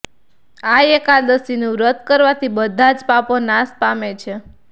આ એકાદશીનું વ્રત કરવાથી બધા જ પાપો નાશ પામે છે